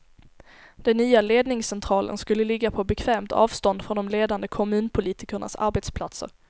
Den nya ledningscentralen skulle ligga på bekvämt avstånd från de ledande kommunpolitikernas arbetsplatser.